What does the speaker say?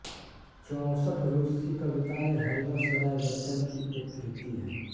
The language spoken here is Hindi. चौसठ रूसी कविताएँ हरिवंश राय बच्चन की एक कृति है